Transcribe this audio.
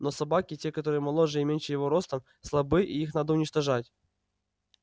но собаки те которые моложе и меньше его ростом слабы и их надо уничтожать